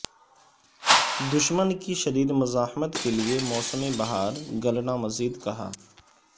دشمن کی شدید مزاحمت کے لئے موسم بہار گلنا مزید کہا